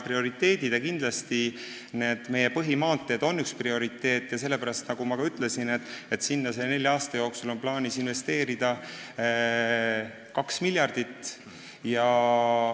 Kindlasti on põhimaanteed üks prioriteete ja sellepärast, nagu ma ka ütlesin, sinna on nelja aasta jooksul plaanis investeerida 2 miljardit.